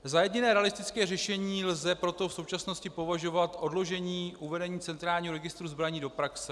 Za jediné realistické řešení lze proto v současnosti považovat odložení uvedení centrálního registru zbraní do praxe.